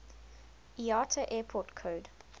iata airport code